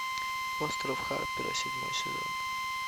остров харпера седьмой сезон